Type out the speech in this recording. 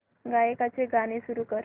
गायकाचे गाणे सुरू कर